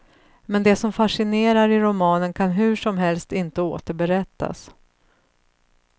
Men det som fascinerar i romanen kan hur som helst inte återberättas.